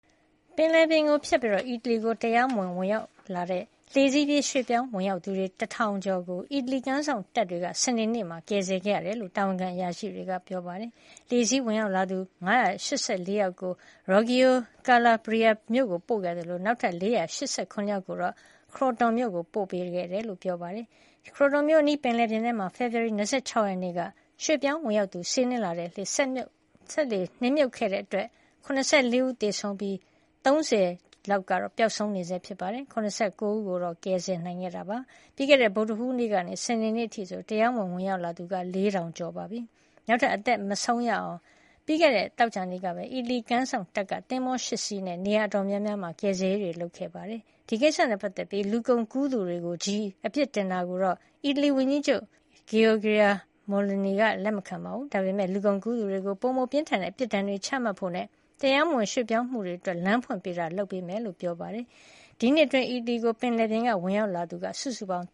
ပင်လယ်ပြင်ကိုဖြတ်ပြီး အီတလီကိုတရားမဝင်-ဝင်ရောက်လာတဲ့ လှေစီးရွှေ့ပြောင်းဝင်ရောက်သူ ၁,၀၀၀ ကျော်ကို အီတလီကမ်းခြေစောင့်တပ်က စနေနေ့တုန်းကကယ်ဆယ်ခဲ့ရတယ်လို့တာဝန်ရှိသူတွေကပြောပါတယ်။ လှေစီးဝင်ရောက်လာသူ ၅၈၄ ယောက်ကို Reggio Calabria မြို့ဆီပို့ခဲ့သလို နောက်ထပ် ၄၈၇ ယောက်ကို Crotone မြို့ကို ပို့ဆောင်ခဲ့တယ်လို့ဆိုပါတယ်။ Crotone မြို့အနီးပင်လယ်ပြင်မှာ ဖေဖေါ်ဝါရီလ ၂၆ ရက်နေ့က ရွှေ့ပြောင်းဝင်ရောက်လာသူတွေစီးနင်းလာတဲ့ စက်လှေ နစ်မြုပ်ခဲ့တာကြောင့် ၇၄ ဦးသေဆုံးပြီး အယောက် ၃၀ ပျောက်ဆုံးနေဆဲ ဖြစ်ပါတယ်။ ၇၉ ဦးကတော့ အသက်ရှင်လျက် ကယ်ဆယ်နိုင်ခဲ့ပါတယ်။ ပြီးခဲ့တဲ့ ဗုဒ္ဓဟူးနေ့ကနေ စနေနေ့အထိ တရားမဝင် ဝင်ရောက်လာသူ ၄,၀၀၀ ကျော် ရှိသွားပြီဖြစ်ပါတယ်။ နောက်ထပ် အသက်ဆုံးရှုံးမှုတွေကို ကာကွယ်နိုင်ဖို့ ပြီးခဲ့တဲ့သောကြာနေ့က အီတလီကမ်းခြေစောင့်တပ်က သင်္ဘော ၈ စီးနဲ့ နေရာ အတော်များများမှာ ကယ်ဆယ်ရေးလုပ်ခဲ့ပါတယ်။ ဒီကိစ္စနဲ့ပတ်သက်ပြီး လူကုန်ကူးသူတွေကိုချည်းပဲ အပြစ်တင်တာကိုတော့ အီတလီ ဝန်ကြီးချုပ် Giorgia Meloni လက်မခံပါဘူး။ ဒါပေမဲ့ လူကုန်ကူးသူတွေကို ပိုမိုပြင်းထန်တဲ့အပြစ်ဒဏ်တွေချမှတ်ဖို့နဲ့ တရားဝင်ရွှေ့ပြောင်းဝင်ရောက်မှုတွေအတွက် လမ်းဖွင့်ပေးတာတွေလုပ်ဆောင်ဖို့ကို အီတလီအစိုးရက ကြာသပတေးနေ့တုန်းကကတိပြုပြောကြားခဲ့ပါတယ်။ ဒီနှစ်အတွင်း အီတလီကို ပင်လယ်ပြင်ကနေဝင်ရောက်လာသူ စုစုပေါင်